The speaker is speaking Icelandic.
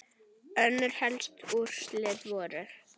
Önnur helstu úrslit voru